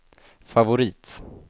favorit